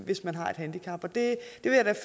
hvis man har et handicap